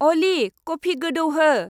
Ali, coffee गोदौहो।